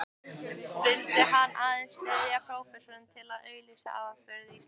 Vildi hann aðeins styðja prófessorinn til að auglýsa afurðir landsins?